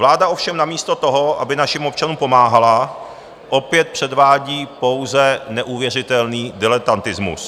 Vláda ovšem namísto toho, aby našim občanům pomáhala, opět předvádí pouze neuvěřitelný diletantismus.